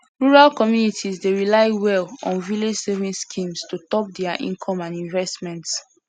rural communities dey rely well on village savings schemes to top dia income and investments